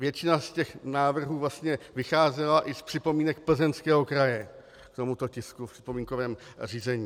Většina z těch návrhů vlastně vycházela i z připomínek Plzeňského kraje k tomuto tisku v připomínkovém řízení.